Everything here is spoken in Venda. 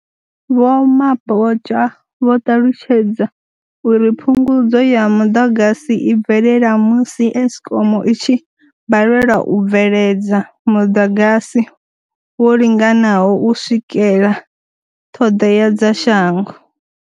Vho Mabotja vho ṱalutshedza uri phungudzo ya muḓagasi i bvelela musi Eskom i tshi balelwa u bveledza muḓagasi wo linganaho u swikela ṱhoḓea dza shango.